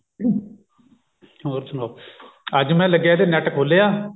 ਹੋਰ ਸੁਣਾਓ ਅੱਜ ਮੈਂ ਲੱਗਿਆ ਤੇ net ਖੋਲਿਆ